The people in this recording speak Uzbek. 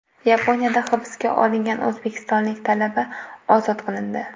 Yaponiyada hibsga olingan o‘zbekistonlik talaba ozod qilindi.